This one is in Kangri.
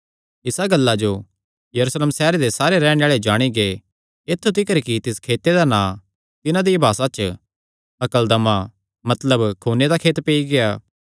इसा गल्लां जो यरूशलेम सैहरे दे सारे रैहणे आल़े जाणी गै ऐत्थु तिकर कि तिस खेते दा नां तिन्हां दिया भासा च हकलदमा मतलब खूने दा खेत पेई गेआ